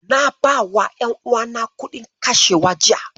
Na bawa ƴanuwana kuɗin kashewa jiya.